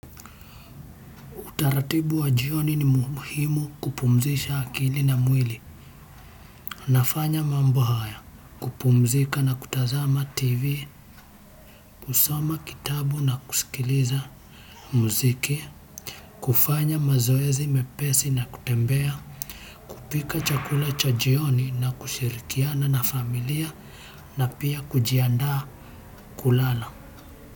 Utaratibu wa jioni ni muhimu kupumzisha akili na mwili. Nafanya mambo haya, kupumzika na kutazama TV kusoma kitabu na kusikiliza muziki, kufanya mazoezi mepesi na kutembea, kupika chakula cha jioni na kushirikiana na familia na pia kujiandaa kulala.